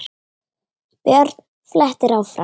Björn flettir áfram.